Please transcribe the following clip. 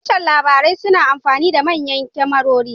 Tashar labarai suna amfani da manyan kyamarori